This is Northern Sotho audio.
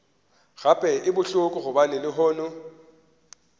gape e bohloko gobane lehono